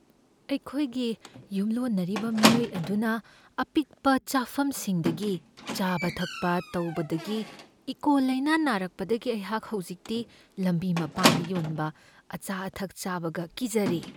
ꯑꯩꯈꯣꯏꯒꯤ ꯌꯨꯝꯂꯣꯟꯅꯔꯤꯕ ꯃꯤꯑꯣꯏ ꯑꯗꯨꯅ ꯑꯄꯤꯛꯄ ꯆꯥꯐꯝꯁꯤꯡꯗꯒꯤ ꯆꯥꯕ ꯊꯛꯄ ꯇꯧꯕꯗꯒꯤ ꯏꯀꯣꯂꯥꯏꯅ ꯅꯥꯔꯛꯄꯗꯒꯤ ꯑꯩꯍꯥꯛ ꯍꯧꯖꯤꯛꯇꯤ ꯂꯝꯕꯤ ꯃꯄꯥꯟꯗ ꯌꯣꯟꯕ ꯑꯆꯥ ꯑꯊꯛ ꯆꯥꯕꯒ ꯀꯤꯖꯔꯦ꯫